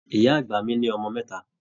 Ìyá àgbà mí ní ọmọ mẹta.